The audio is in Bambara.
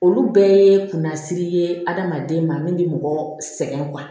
Olu bɛɛ ye kunnasiri ye adamaden ma min bɛ mɔgɔ sɛgɛn